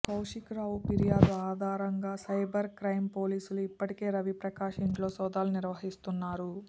కౌశిక్ రావు ఫిర్యాదు ఆధారంగా cyber crime పోలీసులు ఇప్పటికే రవి ప్రకాష్ ఇంట్లో సోదాలు నిర్వహిస్తున్నారు